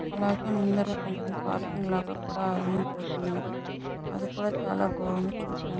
అలాగే ముందురా కొంచం పార్కింగ్ లాగా కూడా ఉంది. అది కూడా చాల బాగుంది చూడటానికి.